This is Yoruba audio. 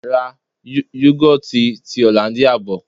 Ra Yogoti ti Hollandia bò.